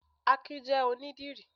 Akin jẹ́ onídìrí